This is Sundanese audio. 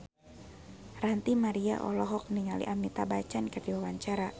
Ranty Maria olohok ningali Amitabh Bachchan keur diwawancara